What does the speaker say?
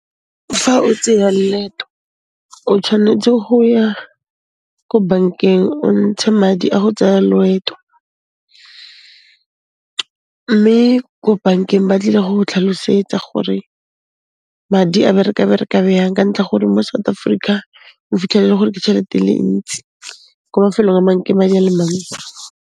Fa o tseya leeto, o tshwanetse go ya ko bankeng o ntshe madi a go tsaya loeto, mme ko bankeng ba tlile go go tlhalosetsa gore madi a bereka byang ka ntlha ya gore mo South Africa o fitlhela e le gore ke chelete e le ntsi, ko mafelong a mang, ke madi a le mantsi.